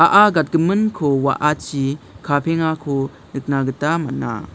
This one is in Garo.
a·a gatgiminko wa·achi kapengako nikna gita man·a.